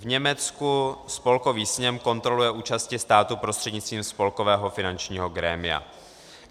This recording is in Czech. V Německu Spolkový sněm kontroluje účasti státu prostřednictvím spolkového finančního grémia.